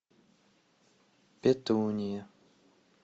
петуния